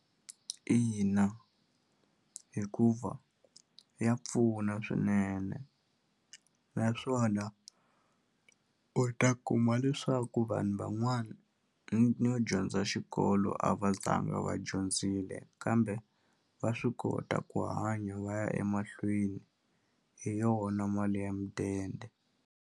Ina, hikuva ya pfuna swinene naswona u ta kuma leswaku vanhu van'wani no dyondza xikolo a va zanga va dyondzile kambe va swi kota ku hanya va ya emahlweni hi yona mali ya mudende.